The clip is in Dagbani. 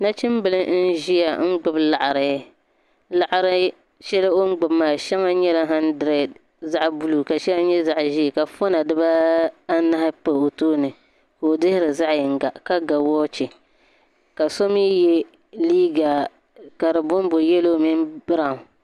Nachimbila n ʒia gbibi laɣari laɣari sheli o mi gbibi maa sheŋa nyɛla hadiredi zaɣa buluu ka sheŋa nyɛ zaɣa ʒee ka fona dibaanahi pa o tooni ka o dihiri zaɣa yinga ka ga woochi ka so mee ye liiga ka di bonbo yelo mini biraw.